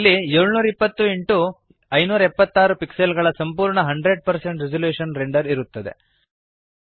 ಇಲ್ಲಿ 720 x 576 pixel ಗಳ ಸಂಪೂರ್ಣ 100 ರೆಸಲ್ಯೂಶನ್ ರೆಂಡರ್ ಇರುತ್ತದೆ